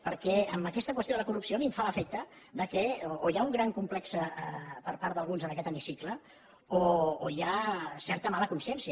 perquè en aquesta qüestió de la corrupció a mi em fa l’efecte que o hi ha un gran complex per part d’alguns en aquest hemicicle o hi ha certa mala consciència